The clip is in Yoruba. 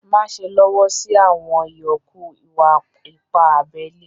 Máṣè lọ́wọ́ sí àwọn ìyọ̀kù ìwà-ìpà àbèlè.